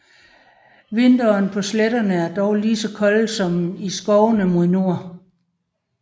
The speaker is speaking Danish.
Vintrene på sletterne er dog lige så kolde som i skovene mod nord